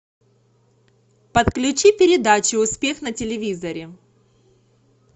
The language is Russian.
подключи передачу успех на телевизоре